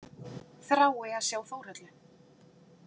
Þrái að sjá Þórhöllu.